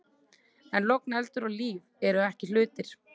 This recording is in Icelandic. En logn, eldur og líf eru ekki hlutir.